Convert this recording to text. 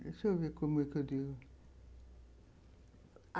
Deixa eu ver como é que eu digo.